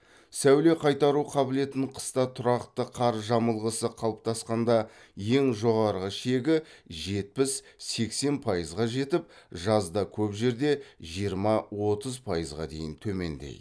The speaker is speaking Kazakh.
сәуле қайтару қабілетін қыста тұрақты қар жамылғысы қалыптасқанда ең жоғары шегі жетпіс сексен пайызға жетіп жазда көп жерде жиырма отыз пайызға дейін төмендейді